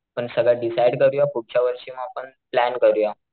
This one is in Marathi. आपण सगळं डिसाइड करूया पुढच्या वर्षी म आपण प्लॅन करूया.